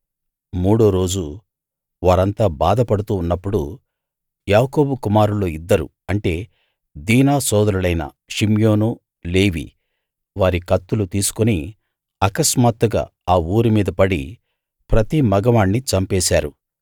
మూడో రోజు వారంతా బాధపడుతూ ఉన్నప్పుడు యాకోబు కుమారుల్లో ఇద్దరు అంటే దీనా సోదరులైన షిమ్యోను లేవి వారి కత్తులు తీసుకు అకస్మాత్తుగా ఆ ఊరిమీద పడి ప్రతి మగ వాణ్నీ చంపేశారు